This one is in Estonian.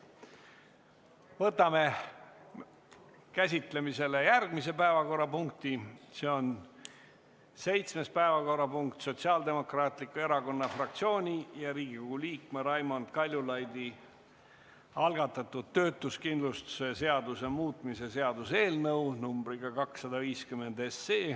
Võtame käsitlemisele järgmise päevakorrapunkti, see on 7. päevakorrapunkt: Sotsiaaldemokraatliku Erakonna fraktsiooni ja Riigikogu liikme Raimond Kaljulaidi algatatud töötuskindlustuse seaduse muutmise seaduse eelnõu numbriga 250.